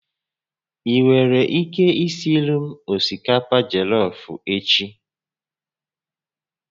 Ị nwere ike isiiri m osikapa jollof echi?